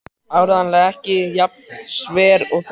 Áreiðanlega ekki jafn sver og þessi á myndinni.